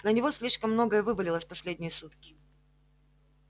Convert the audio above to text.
на него слишком многое вывалилось в последние сутки